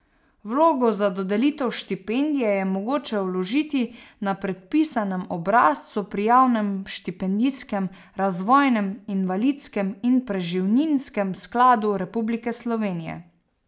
Vlogo za dodelitev štipendije je mogoče vložiti na predpisanem obrazcu pri Javnem štipendijskem, razvojnem, invalidskem in preživninskem skladu Republike Slovenije.